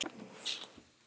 spyr Agnes Svenna.